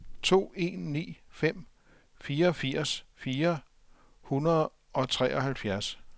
to en ni fem fireogfirs fire hundrede og treoghalvfjerds